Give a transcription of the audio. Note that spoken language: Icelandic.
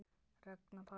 Ragnar Páll.